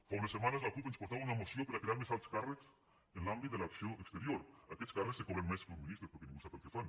fa unes setmanes la cup ens portava una moció per a crear més alts càrrecs en l’àmbit de l’acció exterior aquests càrrecs que cobren més que un ministre però que ningú sap el que fan